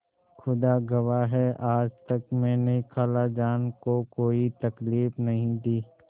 खुदा गवाह है आज तक मैंने खालाजान को कोई तकलीफ नहीं दी